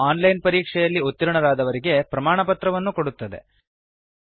ಹಾಗೂ online ಪರೀಕ್ಷೆಯಲ್ಲಿ ಉತ್ತೀರ್ಣರಾದವರಿಗೆ ಪ್ರಮಾಣಪತ್ರವನ್ನು ಕೊಡುತ್ತದೆ